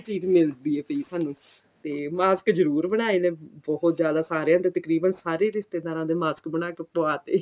ਚੀਜ਼ ਮਿਲਦੀ ਏ ਸਾਨੂੰ ਤੇ mask ਜਰੂਰ ਬਨਾਏ ਨੇ ਬਹੁਤ ਜ਼ਿਆਦਾ ਸਾਰਿਆਂ ਦੇ ਤਕਰੀਬਨ ਸਾਰੇ ਰਿਸ਼ਤੇਦਾਰਾਂ ਦੇ mask ਬਣਾ ਕੇ ਪਵਾ ਤੇ